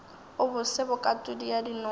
a bose bokatodi ya dinose